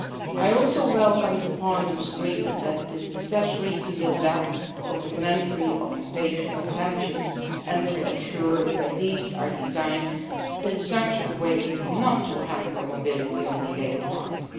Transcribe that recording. I also welcome Parliament's agreement that it is necessary to build up complementary occupational pensions and to ensure that these are designed in such a way as not to hamper mobility on the labour market.